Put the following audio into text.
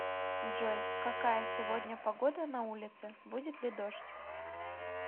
джой какая сегодня погода на улице будет ли дождь